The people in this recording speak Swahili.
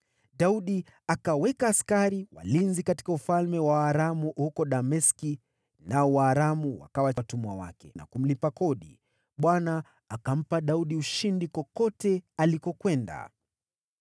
Daudi akaweka askari walinzi katika ufalme wa Waaramu huko Dameski, nao Waaramu wakawa watumwa wake na kumlipa ushuru. Bwana akampa Daudi ushindi kote alipokwenda.